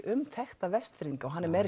um þekkta Vestfirðinga hann er meðal